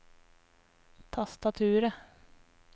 tastaturet